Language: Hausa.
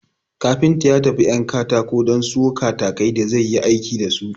Kafinta ya tafi 'yan katako don sayo katakai da zai yi aiki dasu